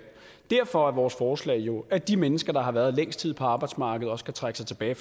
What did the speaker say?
derfor er vores forslag jo at de mennesker der har været længst tid på arbejdsmarkedet også kan trække sig tilbage